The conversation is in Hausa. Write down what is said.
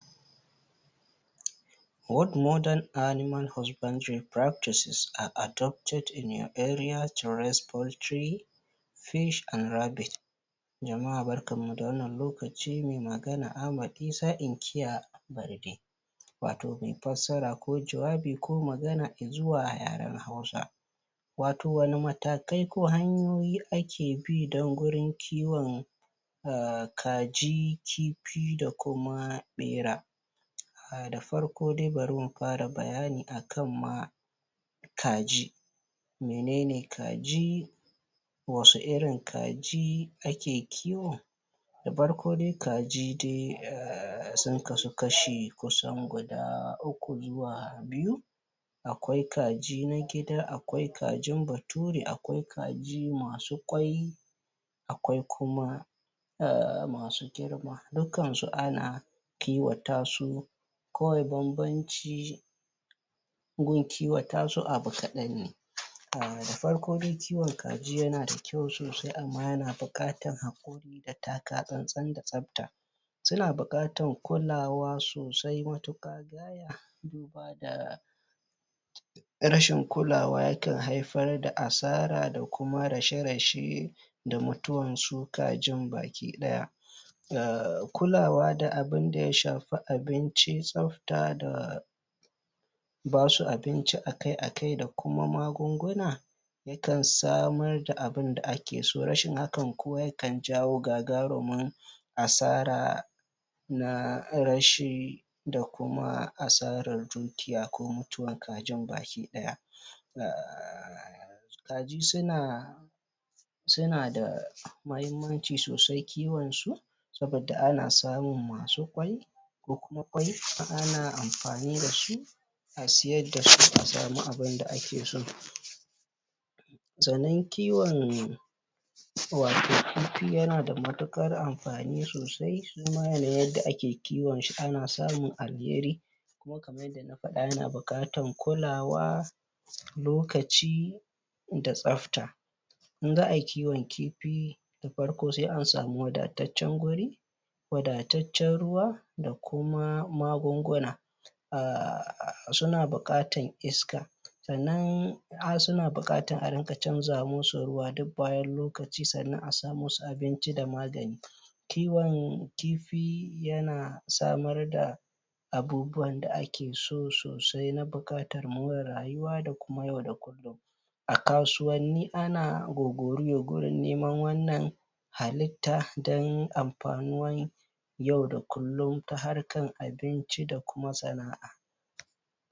What modern animal husbandry practices are adopted in your area to raise ( Waɗanne hanyoyin zamani ake amfani da su a yankinku wajen kiwon kaj) fish and rabbit (kifi da zomo) Jama'a barkanmu da wannan lokaci. Mai magana Ahmad Isa inkiya Barde watau mai fassara ko jawabi ko magana i zuwa yaren hausa watau wani matakai ko hanyoyi ake bi don gurin kiwon um kaji, kifi d kuma ɓera um Da farko dai bari mu fara bayani akan ma kaji menene kaji? wasu irin kaji ake kiwo? Da farko da kaji dai um sun kasu kashi kusan guda uku zuwa biyu akwai na gida, akwai kajin bature, akwai kaji masu ƙwai akwai kuma um masu girma dukkan su ana kiwata su kawai bambanci gun kiwata su abu kaɗan ne um da farko dai kiwon kajj da yana da kyau sosai amma yana buƙatan haƙuri da taka tsan-tsan da tsafta suna buƙatan kulawa sosai matuƙa um rashin kulawa yakan haifar da asara da kuma rashe-rashe da mutuwan su kajin baki ɗaya um kulawa da abinda ya shafi abinci, tsafta da basu abinci a kai a kwai da kuma magunguna yakan samar da abunda ake so. Rashin hakan kuwa yakan jawo gagarumara asara na rashi da kuma asarar dukiya ko mutuwan kajin baki ɗaya um kaji suna suna da mahimmanci sosai kiwonsu saboda ana samun masu ƙwai ko kuma ƙwai ana amfani da su a siyar da su a samu abunda ake so Sannan kiwon wauat kifi yana da matuƙar amfani sosai duba da yandakiwon shi ana samu alheri kuma kaman yada na faɗa yana buƙatan kulawa lokaci da tsafta in za ayi kiwon kifi na farko sai an samu wadatanccen guri wadatacen ruwa da kuma magunguna um suna buƙatar iska sannan suna buƙatan a riƙa canza musu ruwa duk bayan lokaci sannan a sa musu abinci da magani kiwon kifi yan samar da abubuwan da ake so sosai na buƙatar more reyuwa da kuma yau da kullum A kasuwanni ana gogoriya gurin neman halitta don amfanuwan yau da kullum ta harkar abinci da kuma sana'a.